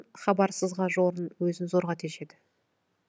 хабарсызға жорын өзін зорға тежеді